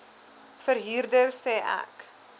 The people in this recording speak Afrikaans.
verhuurder sê ek